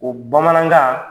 O bamanankan